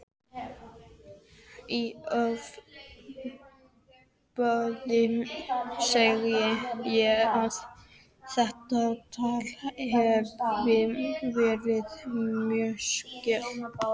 Í ofboði segi ég að þetta tal hafi verið misskilningur.